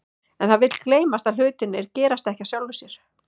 En það vill gleymast að hlutirnir gerast ekki af sjálfu sér.